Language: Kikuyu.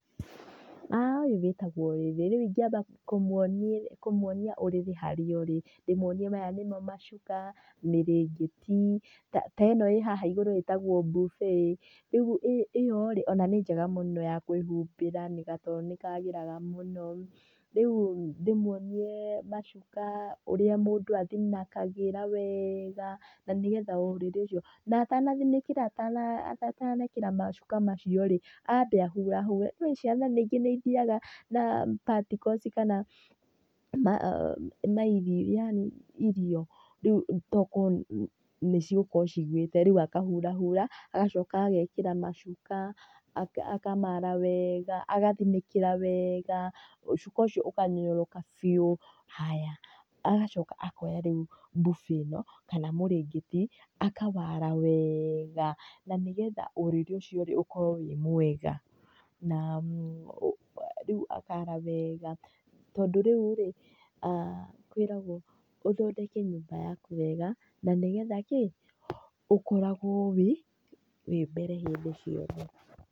Ũyũ wĩtagwo wĩthĩ, rĩu ingĩamba kũmwonia ũrĩrĩ harĩa ũrĩ, ndĩmuonie maya nĩmo macuka, mĩrengeti ta ĩno ĩ haha igũrũ itagwo buffet rĩu ĩyo rĩ ona nĩ njega mũno ya kwĩhumbĩra gatoro nĩ kagĩraga mũno. Rĩu ndĩmuonie macuka ũrĩa mũndũ athinĩkagĩra wega na nĩgetha ũrĩrĩ ũcio na atanathinĩkĩra atanekĩra macuka macio rĩ, ambe ahurahure. Nĩ ũĩ ciana nĩngĩ nĩ ithiaga na particles kana mairio yaani irio. Rĩu tokorwo nĩ cigũkorwo igũĩte rĩu akahurahura, agacoka agekĩra macuka akamara wega agathinĩkĩra wega cuka ũcio ũkanyororoka biu, haya, agacoka akoya rĩu buffet ĩno kana murengeti akawara wega na nĩgetha ũrĩrĩ ũcio rĩ ũkorwo wĩ mwega. Na rĩu akara wega tondũ rĩu rĩ, kwĩragwo ũthondeke nyũmba yaku wega na nĩgetha kĩ? Ũkoragwo wĩ, wĩ mbere hĩndĩ ciothe.